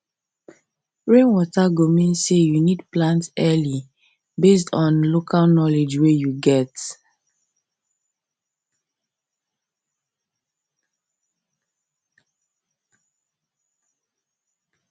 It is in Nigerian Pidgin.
rainwater go mean say you need plant early based on local knowledge wey you get